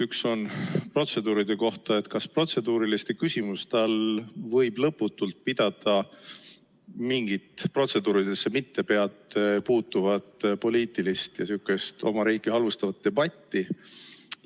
Üks on protseduuri kohta: kas protseduuriliste küsimuste nime all võib lõputult pidada mingit protseduuri mittepuutuvat poliitilist ja oma riiki halvustavad debatti?